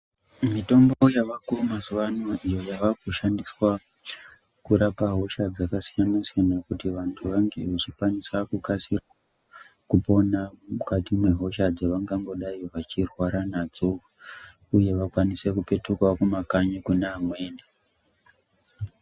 Mitombo yavako mazuva anawa iyo kushandiswa kurapa hosha dzakasiyana siyana kuti vantu vanenge vachikaanisa kukasira kupona mukati nehosha dzavangodai vachirwara nadzo uye vakwanise kupetuka kumakanyi Kona iyoyo.